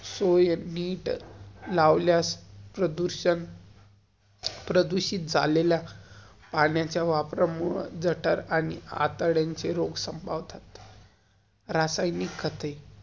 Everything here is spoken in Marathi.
प्रदुषण~प्रदूषित झालेल्या पाण्याच्या वापरा मुळं, जटर आणि आतद्यांचे रोग संभावतात. रासायनिक खते.